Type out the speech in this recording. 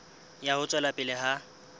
ya ho tswela pele ha